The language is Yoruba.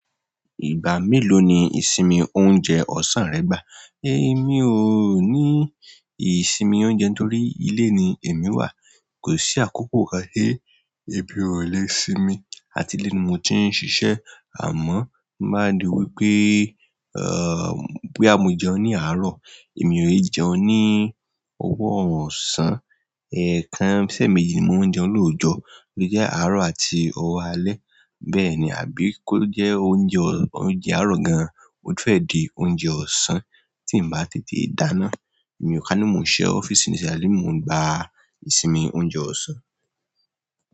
Ìgbà mélòó ni ìsinmi oúnjẹ ọ̀sán rẹ gbà? Èmi ò ní ìsinmi oúnjẹ torí ilé ni èmi wà, kò sí àkókò kan tí èmi ò le sinmi. Àti ilé ni mo ti ń ṣiṣẹ́. Àmọ́ máa di wípé bóyá mo jẹun ní àárọ̀, èmi ò jẹun ní owó ọ̀sán, ẹẹkan ṣẹ́ mi ò jẹun lọ́jọ̀, bí jẹ́ àárò àti owó alẹ́ bẹ́ẹ̀ni àbí kó jẹ oúnjẹ àárò gan, mo fẹ di oúnjẹ ọ̀sán tí n bá ti di dáná, èmi ò kán ní mò ń ṣe ọ́fíìsì nísàlẹ̀ mo ń gba ìsinmi oúnjẹ ọ̀sán.